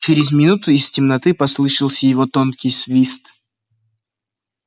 через минуту из темноты послышался его тонкий свист